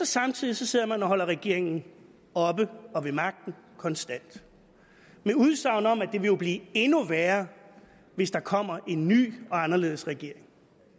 samtidig sidder man og holder regeringen oppe og ved magten konstant med udsagn om at det jo vil blive endnu værre hvis der kommer en ny og anderledes regering